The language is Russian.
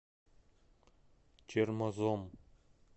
чермозом